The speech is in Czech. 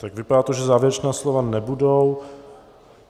Tak vypadá to, že závěrečná slova nebudou.